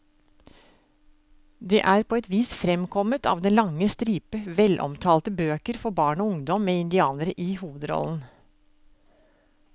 Det er på et vis fremkommet av den lange stripe velomtalte bøker for barn og ungdom med indianere i hovedrollen.